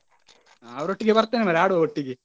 ಅವರೊಟ್ಟಿಗೆ ಬರ್ತೇನೆ ಮಾರ್ರೆ ಆಡುವ ಒಟ್ಟಿಗೆ.